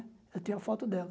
Eu tenho a foto dela.